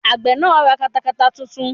Àgbẹ̀ náà ra katakata titun